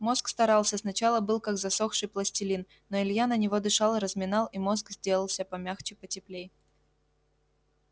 мозг старался сначала был как засохший пластилин но илья на него дышал разминал и мозг делался помягче потеплей